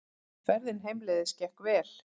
Ferðin heimleiðis gekk vel.